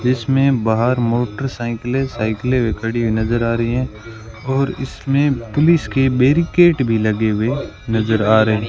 इसमें बाहर मोटरसायकले सायकले भी खड़ी हुई नजर आ रही हैं और इसमें पुलिस कि बैरिकेट भी लगे हुए नजर आ रहे --